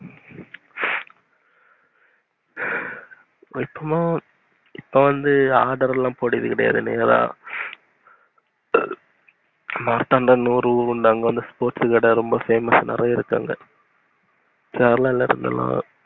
இப்போவும் இப்ப வந்து order லாம் போடுறது கெடையாது நேர மார்த்தாண்டம் ஒரு ஊரு உண்டு அங்க sports கடை famous நெறைய இருக்கு அங்க Kerala ல இருத்தலாம்